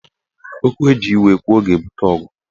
Okwu eji iwe kwuo ga-ebute ọgụ